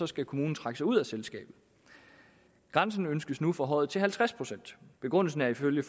skal kommunen trække sig ud af selskabet grænsen ønskes nu forhøjet til halvtreds procent begrundelsen er ifølge